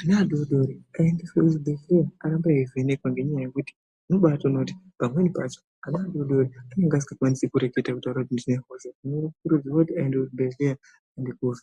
ana adodori aendeswe kuzvibhedhlera arambe veivhenekwa ngenyaya yekuti unotoona kuti pamweni pacho ana adodori anenge asingakwanisi kutaura kuti ndine hosha hino tinokurudzirwa kuti aende kuchibhedhlera aende kovhenekwa.